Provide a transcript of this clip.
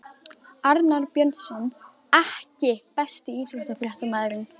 Arnar Björnsson EKKI besti íþróttafréttamaðurinn?